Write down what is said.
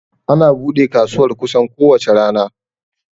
Ana bude kasuwar kusan ko wace rana